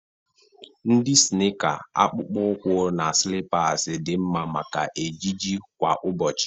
Ndị snịịka, akpụkpọ ụkwụ, na slippers dị mma maka ejiji kwa ụbọchị..